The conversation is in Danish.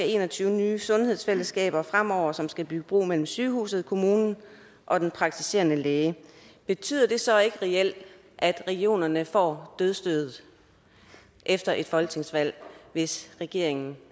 en og tyve nye sundhedsfællesskaber fremover som skal bygge bro mellem sygehuset kommunen og den praktiserende læge betyder det så ikke reelt at regionerne får dødsstødet efter et folketingsvalg hvis regeringen